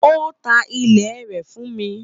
Ó ta ilẹ̀ rẹ̀ fún mi.